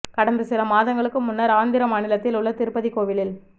கடந்த சில மாதங்களுக்கு முன்னர் ஆந்திர மாநிலத்தில் உள்ள திருப்பதி கோவிலில்